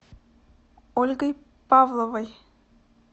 ольгой павловой